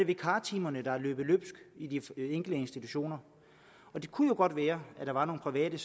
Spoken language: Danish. vikartimerne der er løbet løbsk i de enkelte institutioner det kunne jo godt være at der var nogle private